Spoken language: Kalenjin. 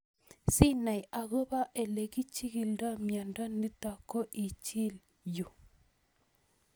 Si nai akopo ole kichigildoi miondo nitok ko ichil yuu